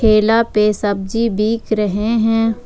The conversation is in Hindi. ठेला पे सब्जी बिक रहे हैं।